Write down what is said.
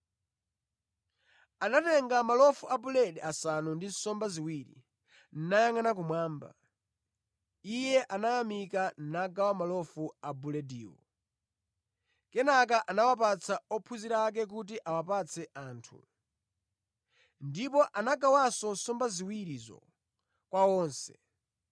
Atatenga malofu a buledi asanu ndi nsomba ziwiri, nayangʼana kumwamba, Iye anayamika nagawa malofu a bulediwo. Kenaka anawapatsa ophunzira ake kuti awapatse anthu. Ndipo anagawanso nsomba ziwirizo kwa onse.